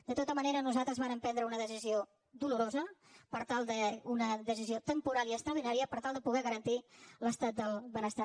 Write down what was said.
de tota manera nosaltres vàrem prendre una decisió dolorosa una decisió temporal i extraordinària per tal de poder garantir l’estat del benestar